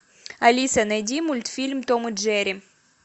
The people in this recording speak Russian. алиса найди мультфильм том и джерри